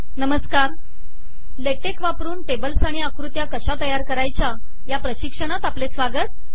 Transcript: नमस्कार लेटेक वापरुन टेबल्स आणि आकृत्या कशा तयार करायच्या या प्रशिक्षणात आपले स्वागत